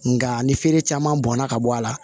Nka ni feere caman bɔnna ka bɔ a la